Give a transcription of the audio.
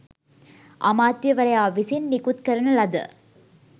අමාත්‍යවරයා විසින් නිකුත් කරන ලද